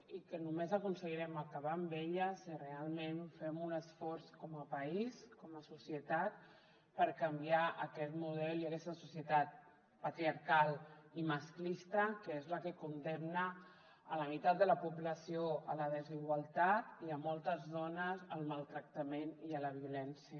i només aconseguirem acabar amb ella si realment fem un esforç com a país com a societat per canviar aquest model i aquesta societat patriarcal i masclista que és la que condemna la meitat de la població a la desigualtat i moltes dones al maltractament i a la violència